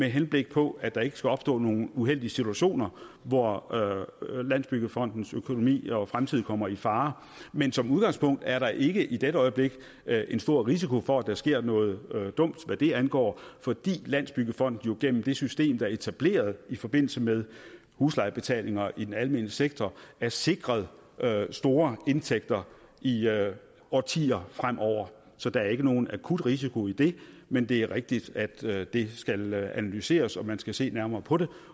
henblik på at der ikke skal opstå nogle uheldige situationer hvor landsbyggefondens økonomi og fremtid kommer i fare men som udgangspunkt er der ikke i dette øjeblik en stor risiko for at der sker noget dumt hvad det angår fordi landsbyggefonden jo gennem det system der er etableret i forbindelse med huslejebetalinger i den almene sektor er sikret store indtægter i årtier fremover så der er ikke nogen akut risiko i det men det er rigtigt at det skal analyseres og at man skal se nærmere på det